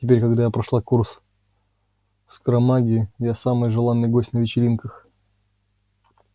теперь когда я прошла курс скоромагии я самый желанный гость на вечеринках